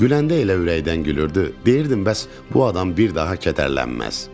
Güləndə elə ürəkdən gülürdü, deyirdim bəs bu adam bir daha kədərlənməz.